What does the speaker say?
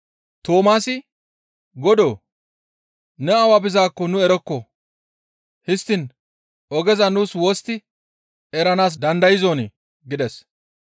Toomaasi, «Godoo! Ne awa bizaakko nu erokkon; histtiin ogeza nu wostti eranaas dandayzonii?» gides.